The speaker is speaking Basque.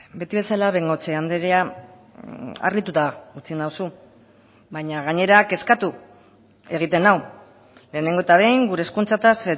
beti bezala bengoechea andrea harrituta utzi nauzu baina gainera kezkatu egiten nau lehenengo eta behin gure hezkuntzaz